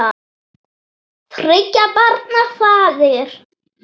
Þriggja barna faðir.